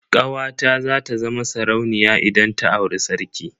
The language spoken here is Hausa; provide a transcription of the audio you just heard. Kawata za ta zama sarauniya idan ta auri sarki.